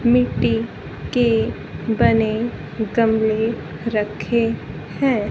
मिट्टी के बने गमले रखे हैं।